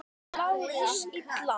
LÁRUS: Illa!